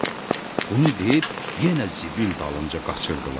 Bunu deyib yenə zibil dalınca qaçırdılar.